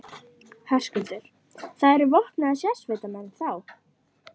Höskuldur: Það eru vopnaðir sérsveitarmenn, þá?